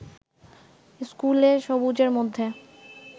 ইস্কুলে সবুজের মধ্যে